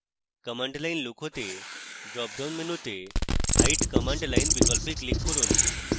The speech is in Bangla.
command line লুকোতে drop down মেনুতে hide command line বিকল্পে click করুন